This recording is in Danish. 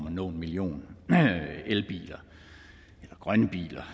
at nå en million elbiler eller grønne biler